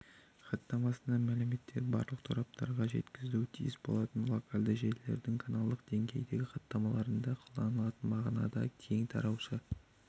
хаттамасында мәліметтер барлық тораптарға жеткізілуі тиіс болатын локальды желілердің каналдық деңгейіндегі хаттамаларында қолданылатын мағынада кең таратушы